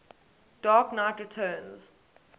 dark knight returns